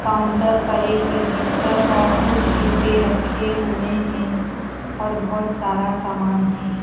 Counter पर एक register और कुछ डिब्बे रखे हुए हैं और बहोत सारा सामान है।